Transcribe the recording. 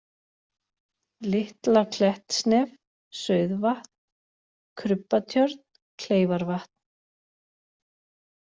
Litla-Klettsnef, Sauðvatn, Krubbatjörn, Kleifarvatn